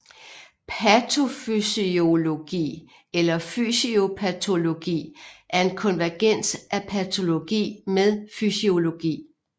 Patofysiologi eller fysiopatology er en konvergens af patologi med fysiologi